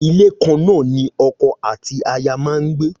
Ilé kan náà ni oko àti aya ma gbé